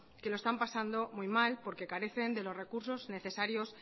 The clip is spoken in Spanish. que lo están pasando muy mal porque carecen de los recursos necesarios